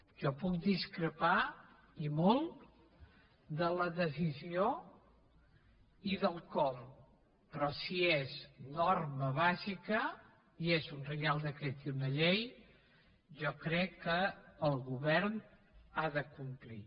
jo puc discrepar i molt de la decisió i del com però si és norma bàsica i és un reial decret i una llei jo crec que el govern ha de complir